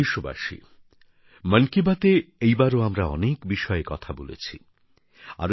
আমার প্রিয় দেশবাসী মন কি বাত এ এইবারও আমরা অনেক বিষয়ে কথা বলেছি